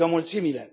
strigă mulțimile.